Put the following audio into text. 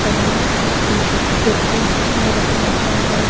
जमीन चे खेतों मे रखा हुआ है।